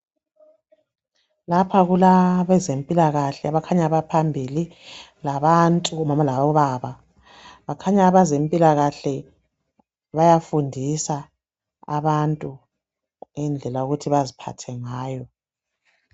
Lapha kulabezempilakahle bakhanya baphambili, labantu omama labobaba. Bakhanya abezempilakahle bayafundisa abantu ngendlela yokuthi baziphathe ngayo.